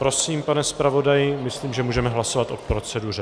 Prosím, pane zpravodaji, myslím, že můžeme hlasovat o proceduře.